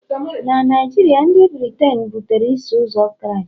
na Naijiria, ndị Britein butere Iso Ụzọ Kraịst..